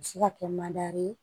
A bɛ se ka kɛ ye